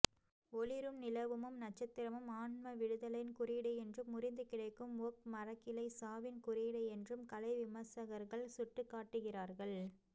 ஒளிரும் நிலவுமும் நட்சத்திரமும் ஆன்மவிடுதலையின் குறியீடு என்றும் முறிந்து கிடக்கும் ஒக் மரக்கிளை சாவின் குறியீடு என்றும் கலைவிமர்சகர்கள் சுட்டிக்காட்டுகிறார்கள்